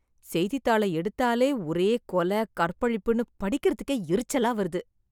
செய்தித்தாள எடுத்தாலே ஒரே கொலை, கற்பழிப்புன்னு படிக்கிறதுக்கே எரிச்சலா வருது.